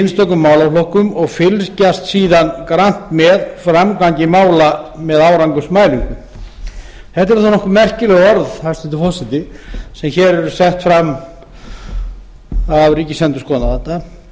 einstökum málaflokkum og fylgjast síðan grannt með framgangi mála með árangursmælingu þetta eru nokkuð merkileg orð hæstvirtur forseti sem hér eru sett fram af ríkisendurskoðanda